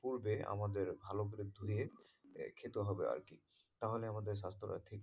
পুর্বে আমাদের ভালো করে ধুয়ে খেতে হবে আরকি তাহলে আমাদের স্বাস্থ্যটা ঠিক,